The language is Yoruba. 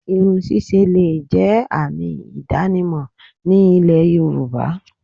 Irun ṣíṣe le è jẹ́ àmì ìdánimò ní ilẹ̀ yorùbá